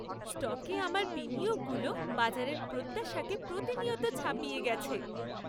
স্টকে আমার বিনিয়োগগুলো বাজারের প্রত্যাশাকে প্রতিনিয়ত ছাপিয়ে গেছে।